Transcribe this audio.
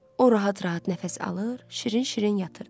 O rahat-rahat nəfəs alır, şirin-şirin yatırdı.